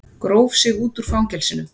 Gróf sig út úr fangelsinu